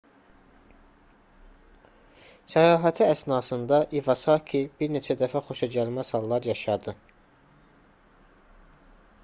səyahəti əsnasında i̇vasaki bir neçə dəfə xoşagəlməz hallar yaşadı